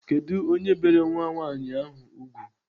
Kedụ onye bere nwa nwaanyị ahụ ùgwù?